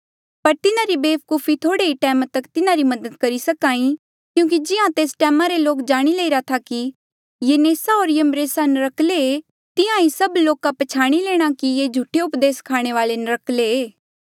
पर तिन्हारी वेवकुफी थोड़े ही टैम तक तिन्हारी मदद करी सकी क्यूंकि जिहां तेस टैमा रे लोके जाणी लेईरा था कि यन्नेसा होर यम्ब्रेसा नर्क्कले तिहां ही सभी लोका पछयाणी लेणा कि ये झूठे उपदेस स्खाणे वाले नर्क्कले